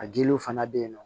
A diliw fana bɛ yen nɔ